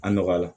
A nɔgɔya la